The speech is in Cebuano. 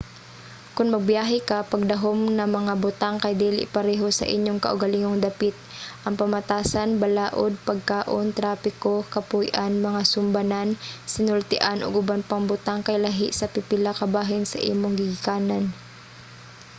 kon magbiyahe ka pagdahom nga mga butang kay dili pareho sa inyong kaugalingong dapit". ang pamatasan balaod pagkaon trapiko kapuy-an mga sumbanan sinultian ug uban pang butang kay lahi sa pipila ka bahin sa imong gigikanan